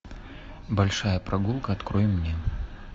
большая прогулка открой мне